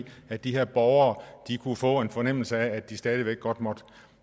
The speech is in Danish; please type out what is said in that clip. at de her borgere kunne få en fornemmelse af at de stadig væk godt måtte